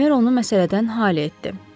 Bemer onu məsələdən xali etdi.